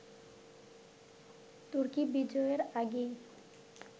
তুর্কী-বিজয়ের আগেই